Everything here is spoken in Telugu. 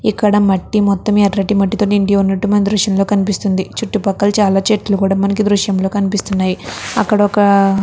మొత్తం ఎర్రటి మట్టితో నిండి ఉన్నట్టు మనకి ఈ దృశ్యం లో కనిపిస్తుంది. చుట్టూ పక్కల చాలా చెట్లు కూడా మనకి ఈ దృశ్యం లో కనిపిస్తున్నాయి. అక్కడ ఒక--